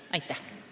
Aitäh!